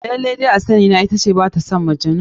Laila dai a sani na ita ce ba ta son Majnun.